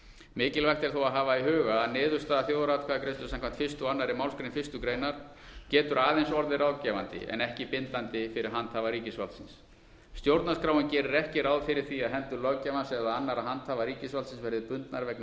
mikilvægt er þó að hafa í huga að niðurstaða þjóðaratkvæðagreiðslu samkvæmt fyrstu og annarri málsgrein fyrstu grein getur aðeins orðið ráðgefandi en ekki bindandi fyrir handhafa ríkisvaldsins stjórnarskráin gerir ekki ráð fyrir því að hendur löggjafans eða annarra handhafa ríkisvalds verði bundnar vegna